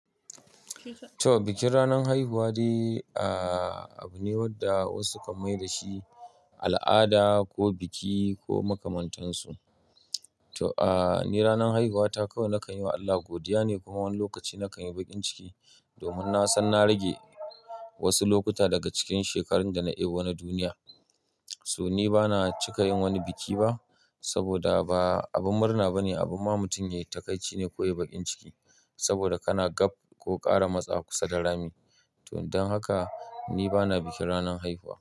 To, bikin ranan haihuwa de abu ne wadda wasu kan mai da shi al'ada ko biki ko makamantansu. To, aa ni ranan haihuwata kawai nakan yi wa Allah godiya ne kuma wani lokaci nakan yi bakin ciki domin na san na rage wasu lokuta daga cikin shekarun da na ebo wannan duniya. So ni bana cika yin wani biki ba saboda ba abun murna ba ne, abun ma mutum ya yi takaici ne ko ya yi bakin ciki saboda kana gab ko ƙara matsawa kusa da rami. To don haka ni bana bikin ranan haihuwa.